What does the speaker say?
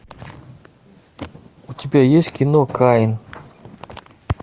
у тебя есть кино каин